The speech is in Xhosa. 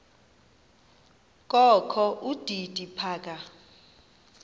kokho udidi phaka